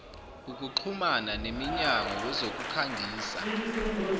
ukuxhuma nemnyango wezokukhangisa